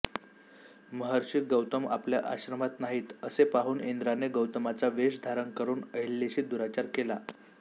महर्षी गौतम आपल्या आश्रमात नाहीत असे पाहून इंद्राने गौतमाचा वेष धारण करून अहल्येशी दुराचार केला